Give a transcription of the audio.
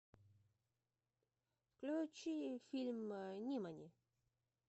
включи фильм нимани